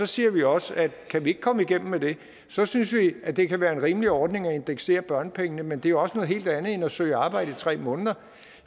siger vi også at kan vi ikke komme igennem med det så synes vi at det kan være en rimelig ordning at indeksere børnepengene men det er også noget helt andet end at søge arbejde i tre måneder